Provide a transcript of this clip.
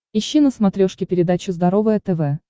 ищи на смотрешке передачу здоровое тв